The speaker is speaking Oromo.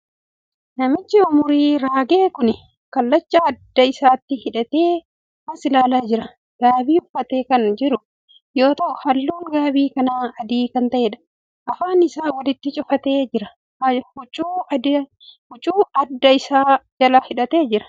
Namichi umurii raage kuni kallacha adda isaatti hidhatee as ilaalaa jira. Gaabii uffatee kan jiru yoo ta'u, halluun gaabii kanaa adii kan ta'eedha. Afaan isaa walitti cufatee jira. Huccuu adda isaa jala hidhatee jira.